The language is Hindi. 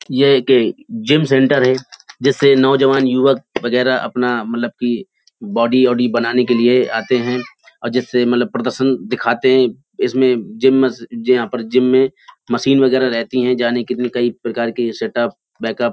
यह एक जिम सेंटर है जिसे नव जवान युवक वगेरा अपना मतलब की बॉडी वोडी बनाने के लिए आते हैं और जिससे मतलब प्रदर्शन दिखाते हैं। इसमें जिम में से जिम यहाँ पर जिम में मशीन वगेरा रहती हैंजाने की भी कही प्रकार की सेटअप बेकअप --